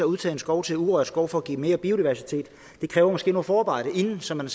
udtage en skov til urørt skov for at give mere biodiversitet måske noget forarbejde forinden så man